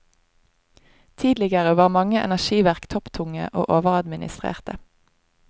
Tidligere var mange energiverk topptunge og overadministrerte.